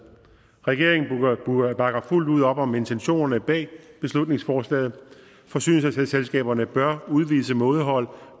regeringen bakker fuldt ud op om intentionerne bag beslutningsforslaget forsyningsselskaberne bør udvise mådehold